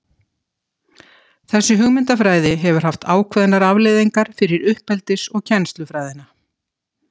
Þessi hugmyndafræði hefur haft ákveðnar afleiðingar fyrir uppeldis- og kennslufræðina.